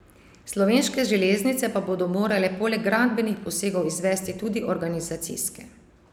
Slovenske železnice pa bodo morale poleg gradbenih posegov izvesti tudi organizacijske.